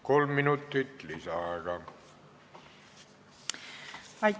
Kolm minutit lisaaega.